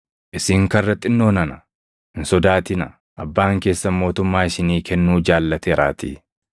“Isin karra xinnoo nana, hin sodaatinaa; Abbaan keessan mootummaa isinii kennuu jaallateeraatii.